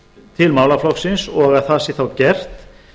til málaflokksins og það sé þá gert